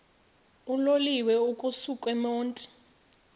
uloliwe ukusuk emontini